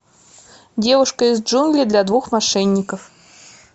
девушка из джунглей для двух мошенников